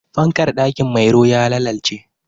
Fankar ɗakin Mairo ya lalalce.